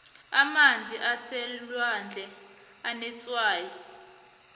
amanzi aselwandle anetswayi